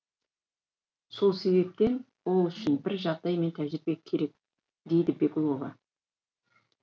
сол себептен ол үшін бір жағдай мен тәжірбие керек дейді беглова